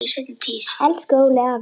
Elsku Óli afi.